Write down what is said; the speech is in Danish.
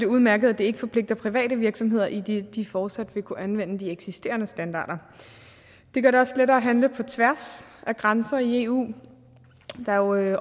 udmærket at det ikke forpligter private virksomheder idet de fortsat vil kunne anvende de eksisterende standarder det gør det også lettere at handle på tværs af grænser i eu der er